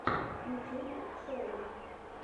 ютюб шоу